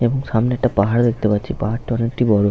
এবং সামনে একটা পাহাড় ও দেখতে পাচ্ছি। পাহাড়টা অনেকটি বড়।